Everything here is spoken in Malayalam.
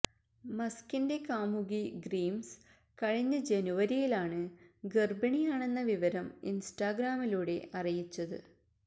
മസ്കിന്റെ കാമുകി ഗ്രിംസ് കഴിഞ്ഞ ജനുവരിയിലാണ് ഗര്ഭിണിയാണെന്ന വിവരം ഇന്സ്റ്റാഗ്രാമിലൂടെ അറിയിച്ചത്